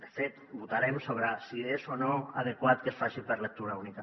de fet votarem sobre si és o no adequat que es faci per lectura única